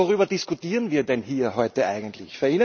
Aber worüber diskutieren wir denn hier heute eigentlich?